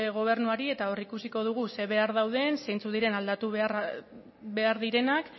gobernuari eta ikusiko dugu ze behar dauden zeintzuk diren aldatu behar direnak